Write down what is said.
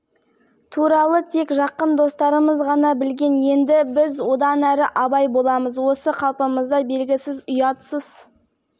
ең қызығы мұны жұбайым бастады ол төсекте өте тойымсыз тартымды әрі сексуалды әр қазаққа осындай әйел бұйыртсын